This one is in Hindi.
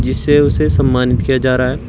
जिससे उसे सम्मानित किया जा रहा है।